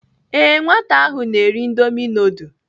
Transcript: Ee nwata ahụ na-eri indomi nudul.